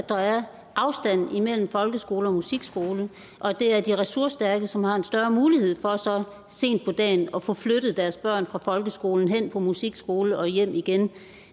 at der er afstand mellem folkeskole og musikskole og at det er de ressourcestærke som har en større mulighed for så sent på dagen at få flyttet deres børn fra folkeskolen hen på musikskolen og hjem igen